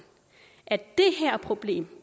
at det her problem